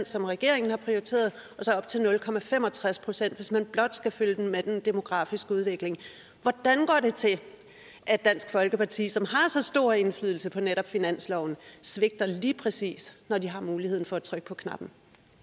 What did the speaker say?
som regeringen har prioriteret og så op til nul pct hvis man blot skal følge med den demografiske udvikling hvordan går det til at dansk folkeparti som har så stor indflydelse på netop finansloven svigter lige præcis når de har muligheden for at trykke på knappen